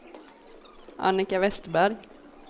Annika Westerberg